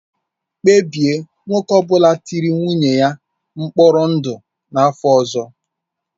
Kpebie nwoke ọ bụla tiri nwunye ya mkpọrọ ndụ n'afọ ọzọ.